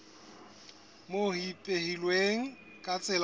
moo ho ipehilweng ka tsela